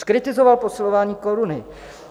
Zkritizoval posilování koruny.